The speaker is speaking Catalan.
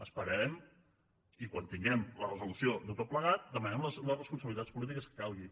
esperarem i quan tinguem la resolució de tot plegat demanarem les responsabilitats polítiques que calgui